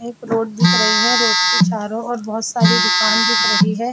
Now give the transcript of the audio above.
एक रोड दिख रही है रोड के छारों और बहुत सारी दुकान दिख रही है।